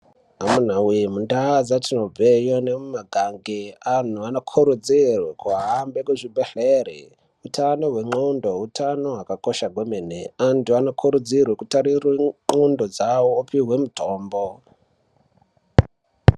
Amunaawee mundau dzetinobva nemumataundi antu anokurudzirwa kuende kuzvibhehlera utano hwenthondo, utano hwakakosha hwemene. Antu anokurudzihwa kuongororwe nthondo dzavo vopuhwe mutombo.